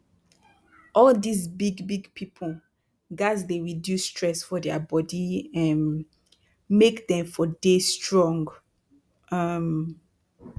all dis big big pipu gats dey reduce stress for dia bodi um make dem for dey strong um